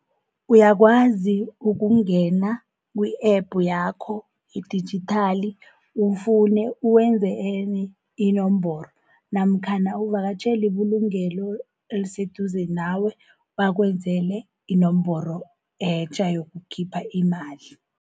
Uyakwazi ukungena kwi-app yakho idijithali ufune, uwenze enye inomboro, namkhana uvakatjhele ibulungelo eliseduze nawe bakwenzele inomboro etjha yokukhipha imali.